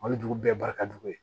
O ye dugu bɛɛ barika jugu ye